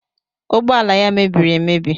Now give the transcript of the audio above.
Ụgbọala ya mebiri emebi.